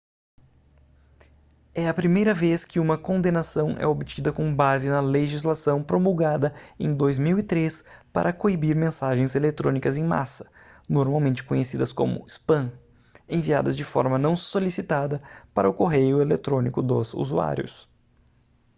é a primeira vez que uma condenação é obtida com base na legislação promulgada em 2003 para coibir mensagens eletrônicas em massa normalmente conhecidas como spam enviadas de forma não solicitada para o correio eletrônico dos usuários